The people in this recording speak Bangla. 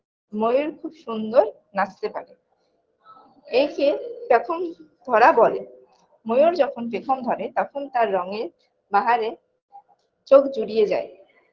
ময়ূর খুব সুন্দর নাচতে পারে একে পেখম ধরা বলে ময়ূর যখন পেখম ধরে তখন তার রঙের বাহারে চোখ জুড়িয়ে যায়